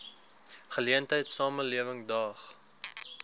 geleentheid samelewing daag